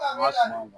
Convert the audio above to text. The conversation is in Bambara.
N ka sumaw